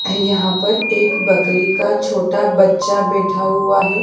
यहां पर एक बकरी का छोटा बच्चा बैठा हुआ है।